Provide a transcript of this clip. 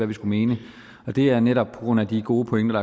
vi skulle mene og det er netop på grund af de gode pointer